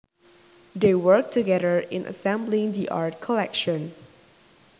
They worked together in assembling the art collection